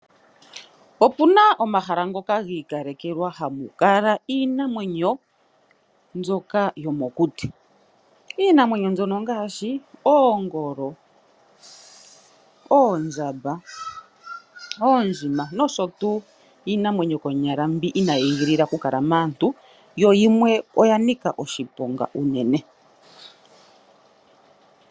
Opuna omahala ngoka gi ikalekelwa hamu kala iinamwenyo mbyoka yomokuti Iinamwenyo mbyono ongashi, Oongolo , oondjamba, Oondjima nosho tuu iinamwenyo konyala mbi inayi I gilila oku kala maantu yo yimwe oya nika oshiponga unene.